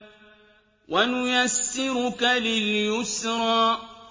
وَنُيَسِّرُكَ لِلْيُسْرَىٰ